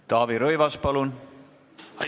Taavi Rõivas, palun!